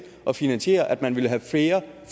at finansiere at man ville have flere